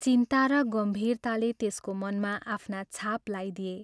चिन्ता र गम्भीरताले त्यसको मनमा आफ्ना छाप लाइदिए।